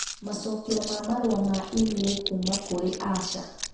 Macokio ma Marũa ma E-mail kuuma kũrĩ Asher